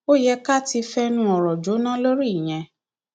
ó yẹ ká ti fẹnu ọrọ jóná lórí ìyẹn